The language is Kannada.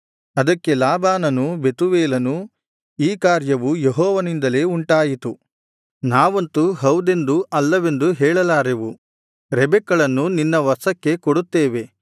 ಅದಕ್ಕೆ ಲಾಬಾನನೂ ಬೆತೂವೇಲನೂ ಈ ಕಾರ್ಯವು ಯೆಹೋವನಿಂದಲೇ ಉಂಟಾಯಿತು ನಾವಂತೂ ಹೌದೆಂದೂ ಅಲ್ಲವೆಂದೂ ಹೇಳಲಾರೆವು ರೆಬೆಕ್ಕಳನ್ನು ನಿನ್ನ ವಶಕ್ಕೆ ಕೊಡುತ್ತೇವೆ